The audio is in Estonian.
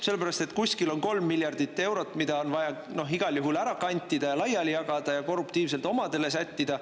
Sellepärast et kuskil on kolm miljardit eurot, mida on vaja igal juhul ära kantida ja laiali jagada ja korruptiivselt omadele sättida.